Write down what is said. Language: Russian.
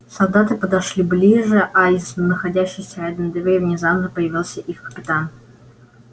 солдаты подошли ближе а из находящейся рядом двери внезапно появился их капитан